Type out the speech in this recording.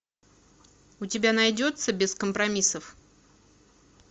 у тебя найдется без компромиссов